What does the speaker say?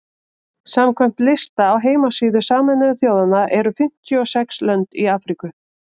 samkvæmt lista á heimasíðu sameinuðu þjóðanna eru fimmtíu og sex lönd í afríku